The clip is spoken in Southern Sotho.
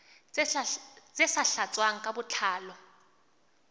tse sa tlatswang ka botlalo